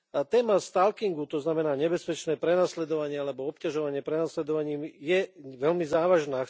Téma stalkingu, to znamená nebezpečné prenasledovanie alebo obťažovanie prenasledovaním, je veľmi závažná.